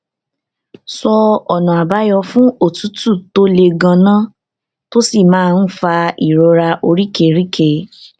sọ ọnààbáyọ fún òtútù tó le gan-an tó sì máa ń fa ìrora oríkèéríkèé